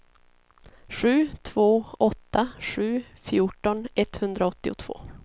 sju två åtta sju fjorton etthundraåttiotvå